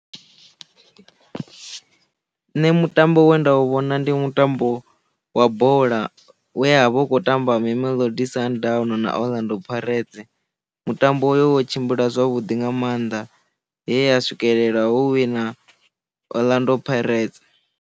Nṋe mutambo we nda u vhona ndi mutambo wa bola we ya vha hu khou tamba mamelodi sundowns na orlando pirates mutambo wo tshimbila zwavhuḓi nga maanḓa heya swikelela ho wina orlando pirates.